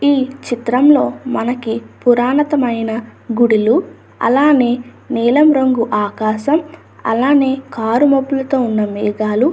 ఈ చిత్రంలో మనకి పురాతనమైన గుడులు అలానే నీలం రంగు ఆకాశం అలనే కారు మబ్బులతో ఉన్న మేఘాలు --